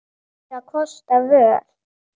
Hann átti engra kosta völ.